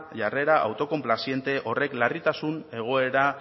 jarrera autokonplaziente horrek larritasun egoera